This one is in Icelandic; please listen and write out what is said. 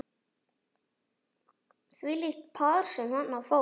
Þvílíkt par sem þarna fór.